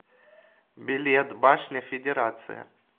билет башня федерация